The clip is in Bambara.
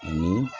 Ni